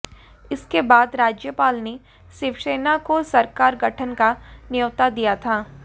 इसके बाद राज्यपाल ने शिवसेना को सरकार गठन का न्योता दिया था